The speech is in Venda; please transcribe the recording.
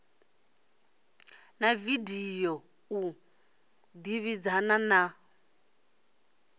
na video u ḓivhadzana na